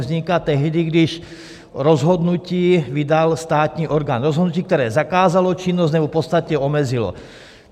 Vzniká tehdy, když rozhodnutí vydal státní orgán, rozhodnutí, které zakázalo činnost, nebo v podstatě omezilo.